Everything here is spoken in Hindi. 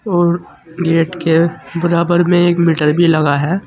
और गेट के बराबर में एक मीटर भी लगा है।